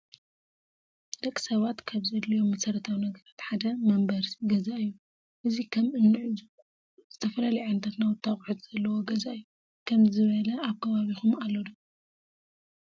ደቂ ሰባት ካብ ዘዲሊዮም መሰረታዊ ነገራት ሓደ መንበረሲ ገዛ እዩ። እዚ ከመ እንዕዞ ዝተፈላለዩ ዓይነታት ናዉቲ አቁሕት ዘለዎ ገዛ እዩ። ከምዚ ዝበለ አብ ከባቢኩም አሎ ዶ?